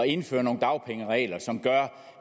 indføre nogle dagpengeregler som gør